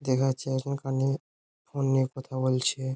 দেখা যাচ্ছে এখন কানে ফোন নিয়ে কথা বলছে।